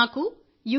నాకు యు